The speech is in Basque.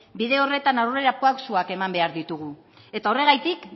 bide horretan aurrerapausoak eman behar ditugu eta horregatik